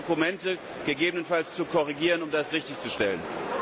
Ich bitte, die Dokumente gegebenenfalls zu korrigieren, um das richtigzustellen.